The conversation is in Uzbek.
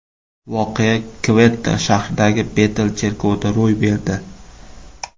Voqea Kvetta shahridagi Betel cherkovida ro‘y berdi.